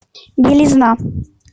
белизна